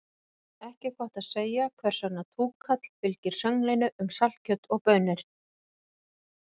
Ekki er gott að segja hvers vegna túkall fylgir sönglinu um saltkjöt og baunir.